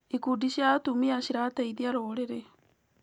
Ikundi cia atumia cirateithia rũrĩrĩ.